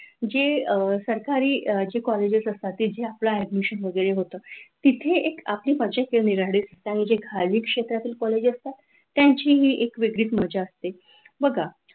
जेव्हा सरकारी कॉलेज असतात जे आपल्या ऍडमिशन वगैरे होत, ते तिथे एक आपली निरनिराळे असतात, आणि जे खाजगी क्षेत्रातले कॉलेज असतात त्यांची ही एक वेगळीच मजा असते.